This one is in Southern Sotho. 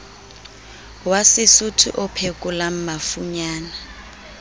wa sesotho o phekolang mafunyana